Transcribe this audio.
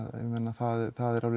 það er alveg